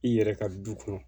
I yɛrɛ ka du kɔnɔ